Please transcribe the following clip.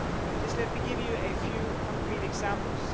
Just let me give you a few concrete examples.